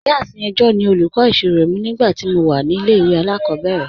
Iyaafin Ejo ni olúkọ̀ isírò mi nígbàtí mó wà ní ilẹ̀-ìwé aláàkòbẹ̀rẹ̀